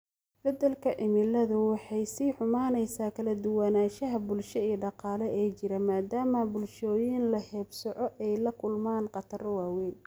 Isbeddelka cimiladu waxay sii xumaynaysaa kala duwanaanshaha bulsho iyo dhaqaale ee jira, maadaama bulshooyinka la haybsooco ay la kulmaan khataro waaweyn.